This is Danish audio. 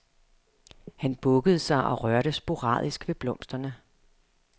Han bukkede sig og rørte sporadisk ved blomsterne.